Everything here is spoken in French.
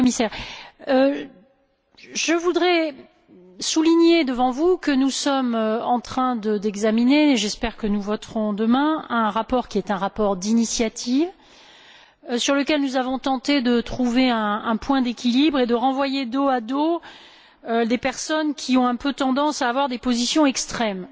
Monsieur le Commissaire, je voudrais souligner, devant vous, que nous sommes en train d'examiner j'espère que nous voterons demain un rapport, qui est un rapport d'initiative, sur lequel nous avons tenté de trouver un point d'équilibre et de renvoyer, dos à dos, les personnes qui ont, un peu, tendance à avoir des positions extrêmes.